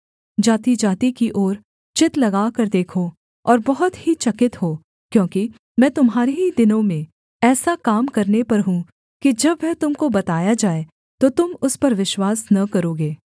जातिजाति की ओर चित्त लगाकर देखो और बहुत ही चकित हो क्योंकि मैं तुम्हारे ही दिनों में ऐसा काम करने पर हूँ कि जब वह तुम को बताया जाए तो तुम उस पर विश्वास न करोगे